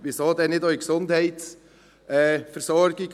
Weshalb also nicht auch in der Gesundheitsversorgung?